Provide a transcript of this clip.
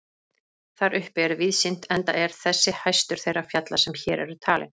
Þar uppi er víðsýnt enda er þessi hæstur þeirra fjalla sem hér eru talin.